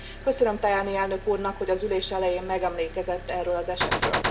Köszönöm Tajani elnök úrnak, hogy az ülés elején megemlékezett erről az esetről.